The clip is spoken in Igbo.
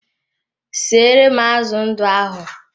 Siere m azụ ndụ ahụ!